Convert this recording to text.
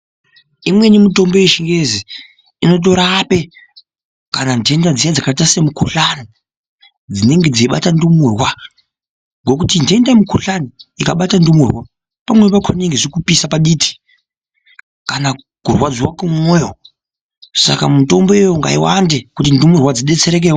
Imweni mitombo yechingezi inotorape kana ndenda dziya dzakaita semukuhlani dzinenge dzeibata ndumurwa ngekuti ndenda yemukuhlani ikabata ndumurwa pamweni pakona inenga ichikupisa paditi kanakurwadziwa kumwoyo saka mitomboyo ngaiwande kuti ndumurwa dzidetserekewo